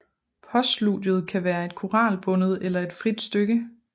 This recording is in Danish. Postludiet kan være et koralbundet eller et frit stykke